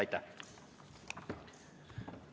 Aitäh!